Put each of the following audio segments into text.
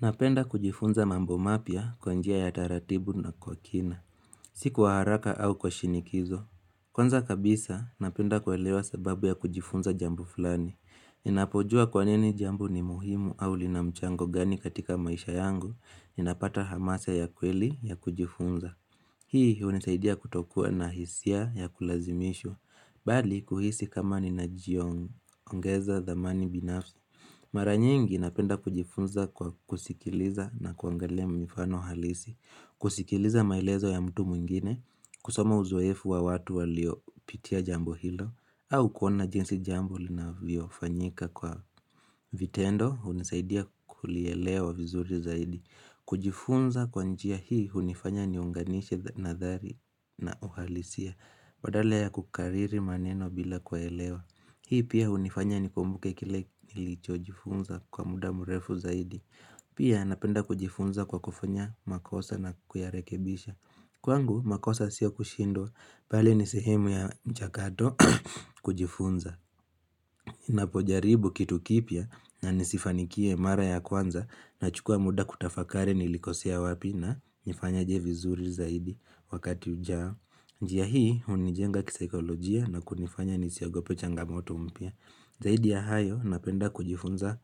Napenda kujifunza mambo mapya kwa njia ya taratibu na kwa kina. Si kwa haraka au kwa shinikizo. Kwanza kabisa, napenda kuelewa sababu ya kujifunza jambo fulani. Ninapojua kwa nini jambo ni muhimu au linamchango gani katika maisha yangu, ninapata hamasa ya kweli ya kujifunza. Hii hunisaidia kutokua na hisia ya kulazimishwa, bali kuhisi kama ninajiongeza dhamani binafsi. Mara nyiingi napenda kujifunza kwa kusikiliza na kuangalia mifano halisi, kusikiliza maelezo ya mtu mwingine, kusoma uzoefu wa watu waliopitia jambo hilo, au kuona jinsi jambo linavyofanyika kwa vitendo, hunisaidia kulielewa vizuri zaidi, kujifunza kwa njia hii hunifanya niunganishe nadhari na uhalisia, badala ya kukariri maneno bila kuelewa. Hii pia hunifanya nikumbuke kile nilichojifunza kwa mda mrefu zaidi. Pia napenda kujifunza kwa kufanya makosa na kuyarekebisha. Kwangu makosa sio kushindwa, pale ni sehemu ya mchakato kujifunza. Napojaribu kitu kipya na nisifanikie mara ya kwanza nachukua mda kutafakari nilikosea wapi na nifanyaje vizuri zaidi wakati ujao. Njia hii hunijenga kisikolojia na kunifanya nisiogope changamoto mpya. Zaidi ya hayo napenda kujifunza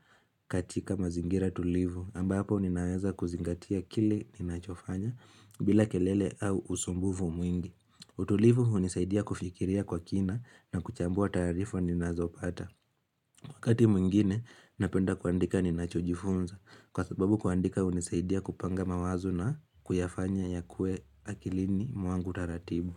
katika mazingira tulivu ambapo ninaweza kuzingatia kile ninachofanya bila kelele au usumbufu mwingi. Utulivu hunisaidia kufikiria kwa kina na kuchambua taarifu ninazopata. Wakati mwingine, napenda kuandika ninachujifunza kwa sababu kuandika hunisaidia kupanga mawazo na kuyafanya yawe akilini mwangu taratibu.